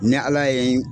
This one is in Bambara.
Ni ala ye